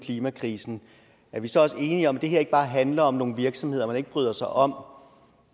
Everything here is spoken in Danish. klimakrisen er vi så også enige om at det her ikke bare handler om nogle virksomheder man ikke bryder sig om